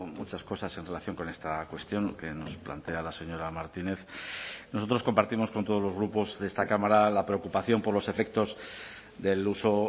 muchas cosas en relación con esta cuestión que nos plantea la señora martinez nosotros compartimos con todos los grupos de esta cámara la preocupación por los efectos del uso